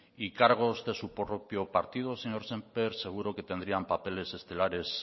y cargos de su propio partido señor sémper seguro que tendrían papeles estelares